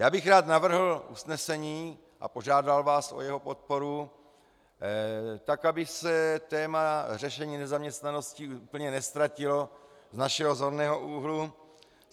Já bych rád navrhl usnesení a požádal vás o jeho podporu, tak aby se téma řešení nezaměstnanosti úplně neztratilo z našeho zorného úhlu.